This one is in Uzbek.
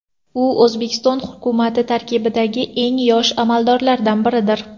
U O‘zbekiston hukumati tarkibidagi eng yosh amaldorlardan biridir.